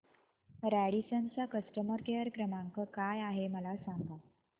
Radisson चा customer care क्रमांक काय आहे मला सांगा